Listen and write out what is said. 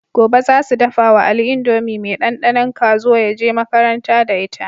Gobe zasu dafa wa ali indomie me dan danon kazo yaje makaranta da ita